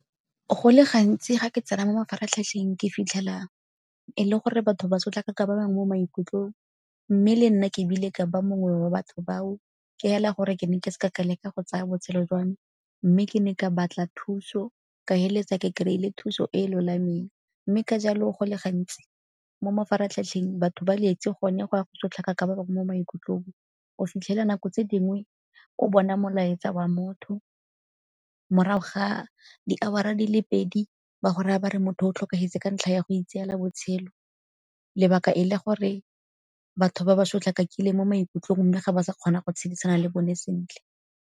Go le gantsi ga ke tsena mo mafaratlhatlheng ke fitlhela e le gore batho ba sotlaka ka ba bangwe mo maikutlong mme le nna ke bile ka ba mongwe wa batho bao ke hela gore ke ne ke se ka ka leka go tsaya botshelo jwa me. Mme ke ne ka batla thuso ka itshireletsa ke kry-ile thuso e lolameng. Mme ka jalo go le gantsi mo mafaratlhatlheng batho ba etse gone go ya go sotlakaka ba bangwe mo maikutlong. O fitlhela nako tse dingwe o bona molaetsa wa motho, morago ga di-hour-ra di le pedi ba go raya ba re motho o tlhokafetse ka ntlha ya go itseela botshelo, lebaka e le gore batho ba ba sotlakakile mo maikutlong mme ga ba sa kgona go tshedisana le bone sentle.